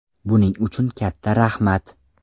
Buning uchun katta rahmat!